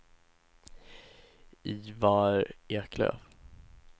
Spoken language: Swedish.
Ivar Eklöf